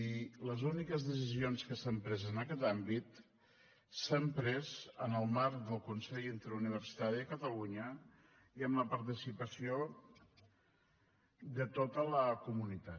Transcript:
i les úniques decisions que s’han pres en aquest àmbit s’han pres en el marc del consell interuniversitari de catalunya i amb la participació de tota la comunitat